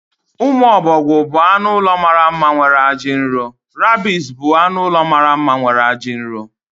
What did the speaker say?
Umu obogwu bụ anụ ụlọ mara mma nwere aji dị nro. Rabbits bụ anụ ụlọ mara mma nwere aji dị nro.